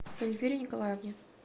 эльвире николаевне